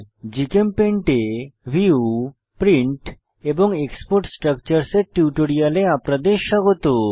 GChemPaint এ view print এবং export structures এর টিউটোরিয়ালে আপনাদের স্বাগত